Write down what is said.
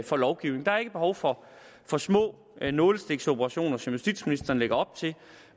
for lovgivning der er ikke behov for for små nålestiksoperationer som justitsministeren lægger op til